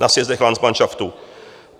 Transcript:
Na sjezdech landsmanšaftu.